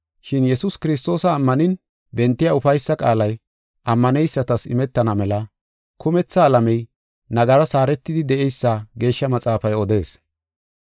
Shin Yesuus Kiristoosa ammanin bentiya ufaysa qaalay ammaneysatas imetana mela kumetha alamey nagaras haaretidi de7eysa Geeshsha Maxaafay odees.